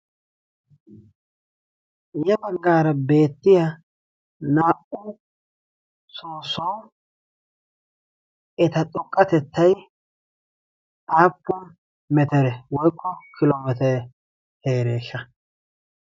ya baggaara beettiya naa"u soosoy eta xoqqatettay aappun metere woykko kiloomeete heereeshsha